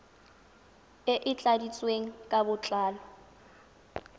e e tladitsweng ka botlalo